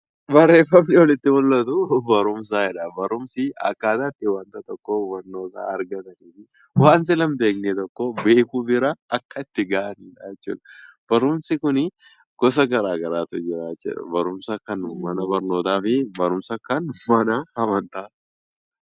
Barreeffamni olitti mul'atu barumsa jedha. Barumsi akkaataa wanta tokko hubannaa isaa argatanii fi wanta dura hin beekne tokko beekuuf bira gahanidha. Barumsi gosa adda addaatu jira barumsa mana barnootaa fi barumsa mana amantaati.